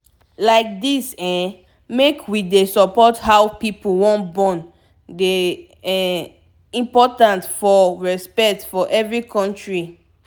like dis eh make wey dey support how pipu wan born dey um important for respect for every kontri